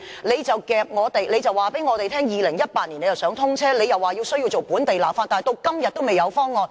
局長卻告訴我們希望於2018年通車，又說需要進行本地立法，但直至今天還未有方案。